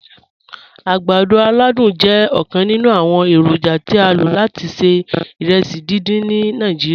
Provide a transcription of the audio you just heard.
Agbàdọ̀ aládùn jẹ̀ ọkan nínu awọn èrójà tí a ló láti ṣẹ̀ ìrèsí díndín ni Nàìjíríà.